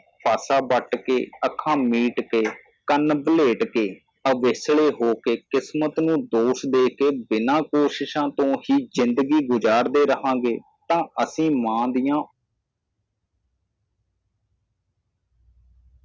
ਪਾਸਾ ਵੱਟ ਕੇ ਅੱਖਾਂ ਮੀਟ ਕੇ ਕੰਨ ਬਲੇਟ ਕੇ ਅਵੇਕਲੇ ਹੋਕੇ ਕਿਸਮਤ ਨੂੰ ਦੋਸ਼ ਦੇਕੇ ਬਿਨਾ ਕੋਸ਼ਿਸ਼ਾਂ ਤੋਂ ਹੀ ਜਿੰਦਗੀ ਗੁਜਾਰਦੇ ਰਹਾਂਗੇ ਤਾਂ ਅਸੀ ਮਾਂ ਦੀਆ